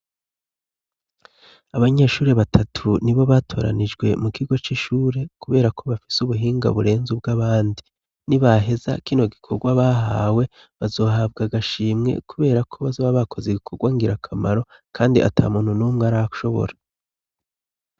Abanyeshure batatu nibo batoranijwe mu kigo c'ishure kuberako bafise ubuhinga burenze ubw'abandi. Ni baheza kino gikorwa bahawe, bazohabwa agashimwe kuberako bazoba bakoze igikorwa ngirakamaro kandi ata muntu n'umwe arashobora.